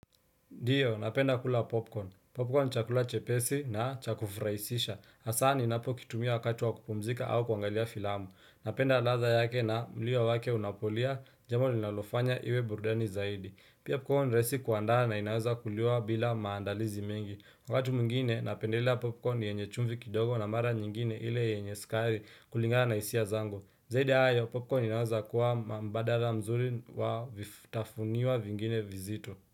Diyo, napenda kula popcorn. Popcorn chakula chepesi na cha kufraisisha. Asa ninapokitumia wakati wa kupumzika au kuangalia filamu. Napenda ladha yake na mlio wake unapolia, jambo linalofanya iwe burdani zaidi. Pia pukohon raisi kuandaa na inaweza kuliwa bila maandalizi mengi. Wakatu mwingine, napendelea popcorn yenye chumvi kidogo na mara nyingine ile yenye skari kulingana isia zangu. Zaidi ayo, popcorn inaweza kuwa mbadala mzuri wa vifutafunio vingine vizito.